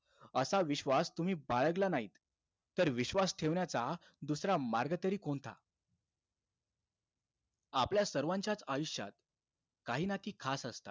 असा विश्वास तुम्ही बाळगला नाहीत तर विश्वास ठेवण्याचा दुसरा मार्ग तरी कोणता? आपल्या सर्वांच्याचं आयुष्यात काही नाती खास असतात.